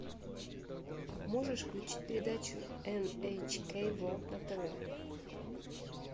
можешь включить передачу эн эйч кей ворлд на тв